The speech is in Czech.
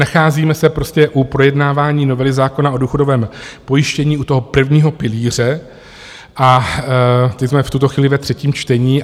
Nacházíme se prostě u projednávání novely zákona o důchodovém pojištění, u toho prvního pilíře, a teď jsme v tuto chvíli ve třetím čtení.